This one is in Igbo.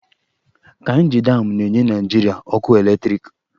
Kainji damụ na-enye Naịjirịa ọkụ eletriki.